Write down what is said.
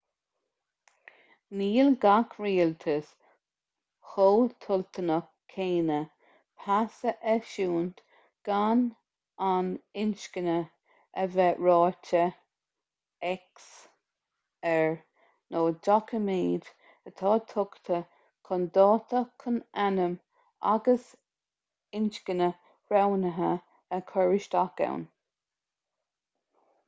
níl gach rialtas chomh toilteanach céanna pas a eisiúint gan an inscne a bheith ráite x air nó doiciméad atá tugtha chun dáta chun ainm agus inscne roghnaithe a chur isteach ann